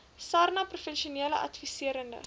sarnap professionele adviserende